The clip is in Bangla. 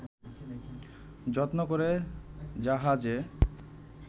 যত্ন করে জাহাজে